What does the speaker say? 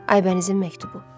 Aybənizin məktubu.